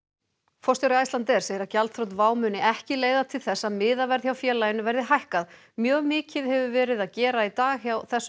forstjóri Icelandair segir að gjaldþrot WOW muni ekki leiða til þess að miðaverð hjá félaginu verði hækkað mjög mikið hefur verið að gera í dag hjá þessum